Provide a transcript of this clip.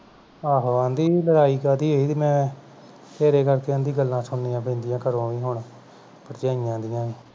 ਆਹੋ ਆਂਦੀ ਲੜਾਈ ਕਾਹਦੀ ਇਹੀ ਤੇ ਮੈਂ ਤੇਰੇ ਕਰਕੇ ਗਲਾਂ ਸੁਣਨੀਆਂ ਪੈਂਦੀਆਂ ਘਰੋਂ ਵੀ ਹੁਣ ਭਰਜਾਈਆਂ ਦੀਆਂ ਵੀ